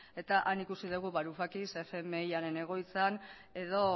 eta han ikusi dugu varufakis fmiaren egoitzan edo